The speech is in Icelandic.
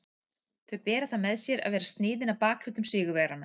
Þau bera það með sér að vera sniðin að bakhlutum sigurvegaranna.